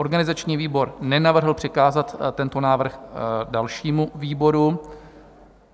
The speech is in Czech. Organizační výbor nenavrhl přikázat tento návrh dalšímu výboru.